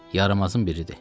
Yaramazın biridir.